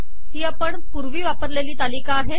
ही आपण पूर्वी वापरलेली तालिका आहे